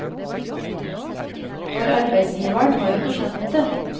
For arbeidsgiveren har jo ikke skjønt det.